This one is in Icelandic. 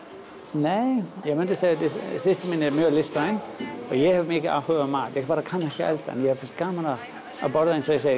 nei ég myndi segja að systir mín sé listræn og ég hef mikinn áhuga á mat ég bara kann ekki að elda en mér finnst gaman að borða eins og ég segi